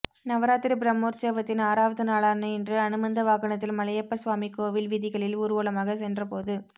நவராத்திரி பிரம்மோற்சவத்தின் ஆறாவது நாளான இன்று அனுமந்த வாகனத்தில் மலையப்ப சுவாமி கோவில் வீதிகளில் ஊர்வலமாக சென்ற போது